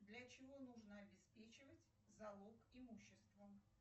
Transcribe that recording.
для чего нужно обеспечивать залог имущества